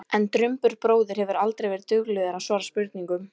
En Drumbur bróðir hefur aldrei verið duglegur að svara spurningum.